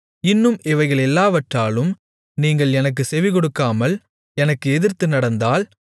இன்னும் இவைகளெல்லாவற்றாலும் நீங்கள் எனக்குச் செவிகொடுக்காமல் எனக்கு எதிர்த்து நடந்தால்